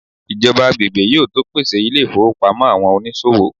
ijoba agbegbe yíò to pèsè ilé ifowópamọ́ àwọn onísòwò